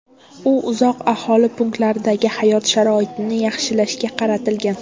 U uzoq aholi punktlaridagi hayot sharoitlarini yaxshilashga qaratilgan.